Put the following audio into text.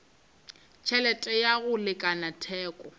tšhelete ya go lekana theko